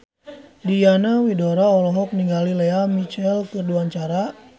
Diana Widoera olohok ningali Lea Michele keur diwawancara